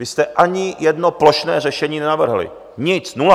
Vy jste ani jedno plošné řešení nenavrhli, nic, nula.